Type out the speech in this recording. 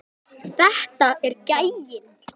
Þetta er gæinn!